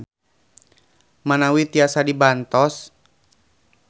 Manawi tiasa dibantos.